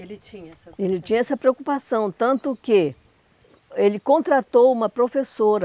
Ele tinha essa preocupação? Ele tinha essa preocupação, tanto que ele contratou uma professora